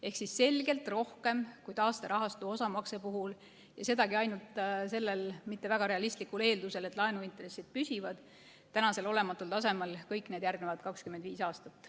Ehk siis selgelt rohkem kui taasterahastu osamakse puhul, ja sedagi ainult sellisel mitte väga realistlikul eeldusel, et laenuintressid püsivad tänasel olematul tasemel kõik need järgnevad 25 aastat.